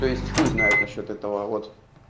то есть хуй знает насчёт этого вот